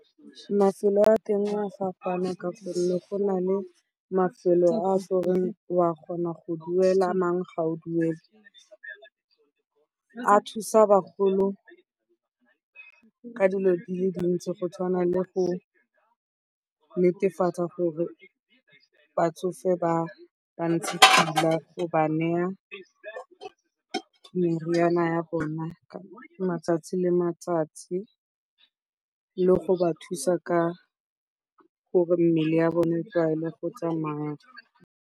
Mafelo a teng a a fapaana ka gonne go na le mafelo a goreng o a kgona go duela, a mangwe ga o duele. A thusa bagolo ka dilo di le di ntsi go tshwana le go netefatsa gore batsofe ba ba ntse sentle go ba naya meriana ya bona ka matsatsi le matsatsi le go ba thusa ka gore mmele ya bone e tlwaele go tsamaya.